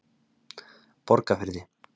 Borgarfirði